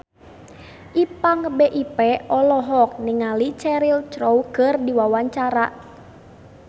Ipank BIP olohok ningali Cheryl Crow keur diwawancara